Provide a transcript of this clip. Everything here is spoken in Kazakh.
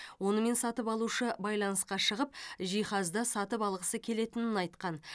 онымен сатып алушы байланысқа шығып жиһазды сатып алғысы келетінін айтқан